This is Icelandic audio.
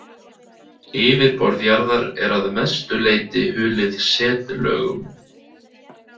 Yfirborð jarðar er að langmestu leyti hulið setlögum.